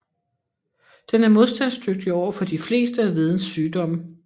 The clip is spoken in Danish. Den er modstandsdygtig overfor de fleste af hvedens sygdomme